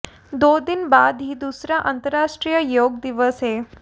दो दिन बाद ही दूसरा अंतरराष्ट्रीय योग दिवस है